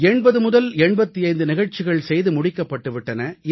8085 நிகழ்ச்சிகள் செய்து முடிக்கப்பட்டு விட்டன